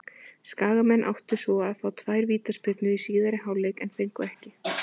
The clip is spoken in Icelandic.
Skagamenn áttu svo að fá tvær vítaspyrnu í síðari hálfleik en fengu ekki.